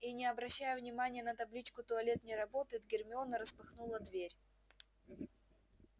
и не обращая внимания на табличку туалет не работает гермиона распахнула дверь